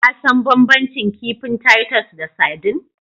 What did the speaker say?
Ka san banbancin kifin Titus da sardine?